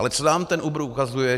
Ale co nám ten Uber ukazuje?